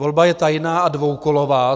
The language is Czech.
Volba je tajná a dvoukolová.